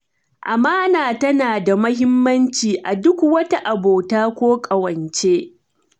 Amana tana da muhimmaci a duk wata abota ko ƙawance.